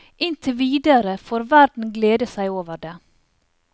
Inntil videre får verden glede seg over det.